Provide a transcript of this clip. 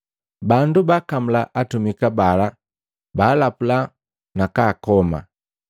Bangi baakamula atumika bala baalapula na kaakoma.